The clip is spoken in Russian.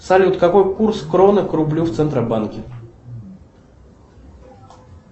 салют какой курс кроны к рублю в центробанке